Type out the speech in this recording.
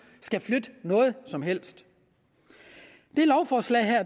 skal flytte noget som helst det lovforslag her